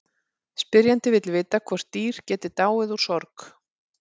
Spyrjandi vill vita hvort dýr geti dáið úr sorg.